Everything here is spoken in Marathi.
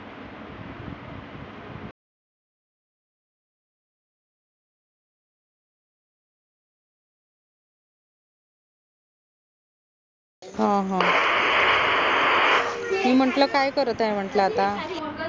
हं हां मी म्हंटल काय करत आहे म्हंटल आता?